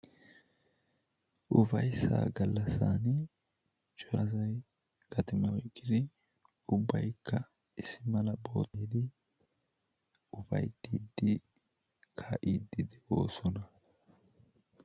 Ufayssaa gallassan Cora asay gatimaa oyqqidi, ubbaykka issi mala boottaa maayidi kaa'iiddi ufayttiiddi de'oosona.